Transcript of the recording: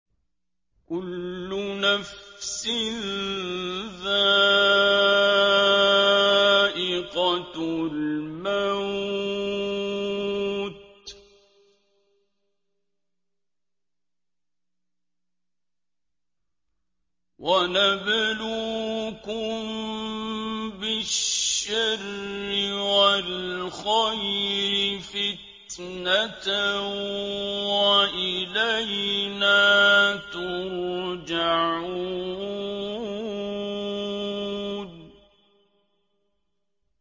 كُلُّ نَفْسٍ ذَائِقَةُ الْمَوْتِ ۗ وَنَبْلُوكُم بِالشَّرِّ وَالْخَيْرِ فِتْنَةً ۖ وَإِلَيْنَا تُرْجَعُونَ